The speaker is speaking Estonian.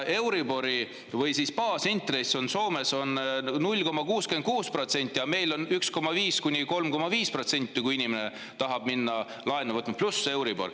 Baasintress on Soomes 0,66% ja meil on see 1,5–3,5%, kui inimene tahab minna laenu võtma, pluss euribor.